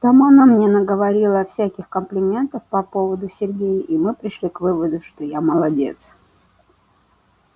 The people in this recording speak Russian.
там она мне наговорила всяких комплиментов по поводу сергея и мы пришли к выводу что я молодец